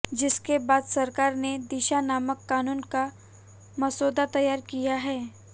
जिसके बाद सरकार ने दिशा नामक कानून का मसौदा तैयार किया है